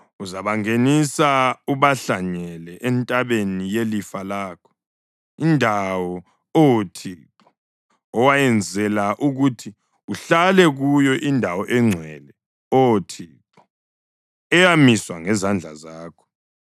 Uzabangenisa ubahlanyele entabeni yelifa lakho, indawo, Oh Thixo, owayenzela ukuthi uhlale kuyo, indawo engcwele, Oh Thixo, eyamiswa ngezandla zakho.